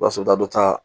I b'a sɔrɔ dɔ ta